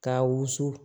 Ka wusu